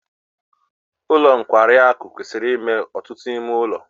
Ụlọ nkwarị akụ kwesịrị inwe ọtụtụ ime ụlọ.